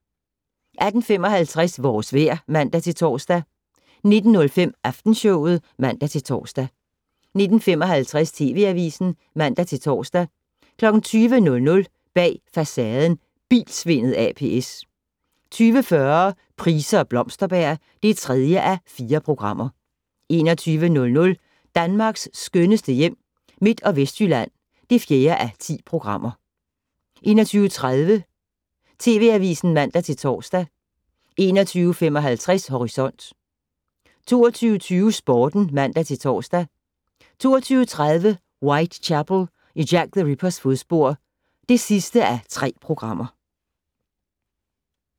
18:55: Vores vejr (man-tor) 19:05: Aftenshowet (man-tor) 19:55: TV Avisen (man-tor) 20:00: Bag Facaden: Bilsvindel ApS 20:40: Price og Blomsterberg (3:4) 21:00: Danmarks skønneste hjem - Midt- og Vestjylland (4:10) 21:30: TV Avisen (man-tor) 21:55: Horisont 22:20: Sporten (man-tor) 22:30: Whitechapel: I Jack the Rippers fodspor (3:3)